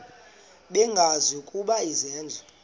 bengazi ukuba izenzo